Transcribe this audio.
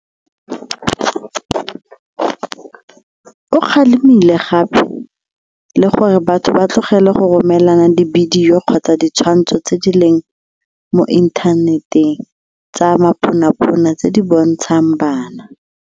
O kgalemile gape le gore batho ba tlogele go romelana dibidio kgotsa ditshwantsho tse di leng mo inthaneteng tsa maponapona tse di bontshang bana.